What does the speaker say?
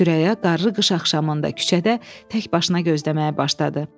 Sürəya qarlı qış axşamında küçədə tək başına gözləməyə başladı.